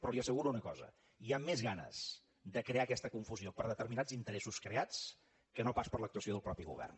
però li asseguro una cosa hi han més ganes de crear aquesta confusió per determinats interessos creats que no pas per l’actuació del mateix govern